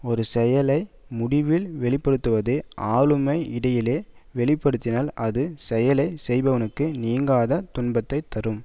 ஒரு செயலை முடிவில் வெளிப்படுத்துவதே ஆளுமை இடையிலேயே வெளிப்படுத்தினால் அது செயலை செய்பவனுக்கு நீங்காத துன்பத்தை தரும்